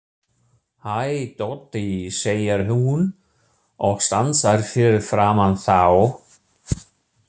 Hæ, Doddi, segir hún og stansar fyrir framan þá.